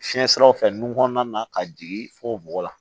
Fiɲɛ siraw fɛ nun kɔnɔna na ka jigin fo bɔgɔ la